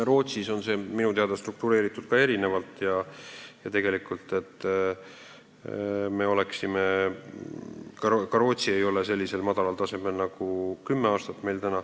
Rootsis on see minu teada struktureeritud ja tegelikult ka Rootsi ei ole sellisel madalal tasemel, nagu on meie kümme aastat.